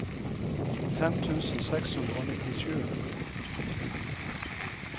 fem tusen seks hundre og nittisju